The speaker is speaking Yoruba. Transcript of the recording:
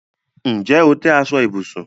Ǹjẹ́ o tẹ̀ aṣọ ibùsùn?